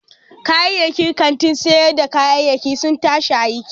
Kayayyakin kantin sayar da kayayyaki sun tashi aiki.